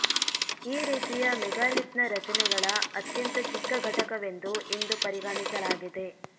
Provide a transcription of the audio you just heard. ಈ ರೀತಿಯ ಮೆಗಾಲಿತ್ನ ರಚನೆಗಳ ಅತ್ಯಂತ ಚಿಕ್ಕ ಘಟಕವೆಂದು ಇಂದು ಪರಿಗಣಿಸಲಾಗಿದೆ